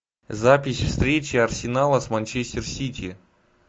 запись встречи арсенала с манчестер сити